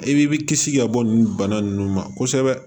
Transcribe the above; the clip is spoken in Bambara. I b'i kisi ka bɔ bana nunnu ma kosɛbɛ